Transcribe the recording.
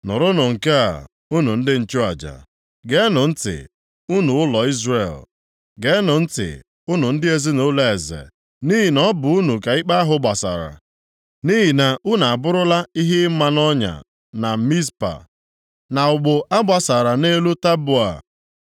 “Nụrụnụ nke a, unu ndị nchụaja! Geenụ ntị, unu ụlọ Izrel! Geenụ ntị, unu ndị ezinaụlọ eze. Nʼihi na ọ bụ unu ka ikpe ahụ gbasara. Nʼihi na unu abụrụla ihe ị maa nʼọnya na Mizpa, na ụgbụ agbasara nʼelu Taboa.